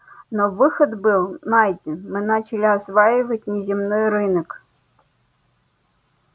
но выход был найден мы начали осваивать внеземной рынок